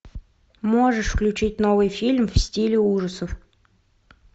можешь включить новый фильм в стиле ужасов